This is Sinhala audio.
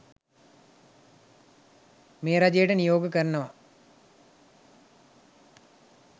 මේ රජයට නියෝග කරනවා